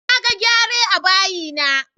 Naga gyare a bayi na